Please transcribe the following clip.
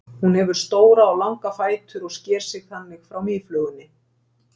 Hún hefur stóra og langa fætur og sker sig þannig frá mýflugunni.